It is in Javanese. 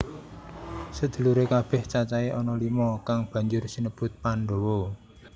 Sedhuluré kabèh cacahé ana lima kang banjur sinebut Pandhawa